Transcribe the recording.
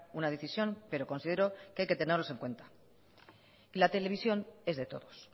una decisión pero considero que hay que tenerlos en cuenta y la televisión es de todos